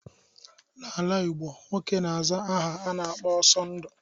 N'ala igbo nwoke n'aza aha a na-akpọ Ọsondu.